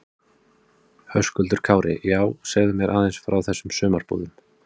Höskuldur Kári: Já, segðu mér aðeins frá þessum sumarbúðum?